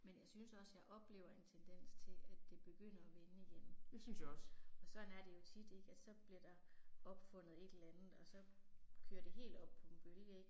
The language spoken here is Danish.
Men jeg synes også jeg oplever en tendens til at det begynder at vende igen. Og sådan er det jo tit ik, at så bliver der opfundet et eller andet og så kører det helt op på en bølge ik